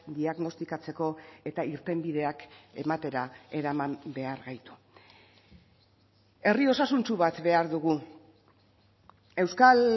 diagnostikatzeko eta irtenbideak ematera eraman behar gaitu herri osasuntsu bat behar dugu euskal